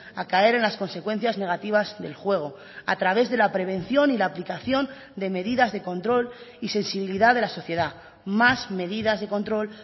a caer en las consecuencias negativas del juego a través de la prevención y la aplicación de medidas de control y sensibilidad de la sociedad más medidas de control